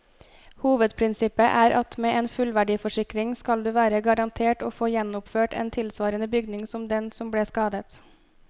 Hovedprinsippet er at med en fullverdiforsikring skal du være garantert å få gjenoppført en tilsvarende bygning som den som ble skadet.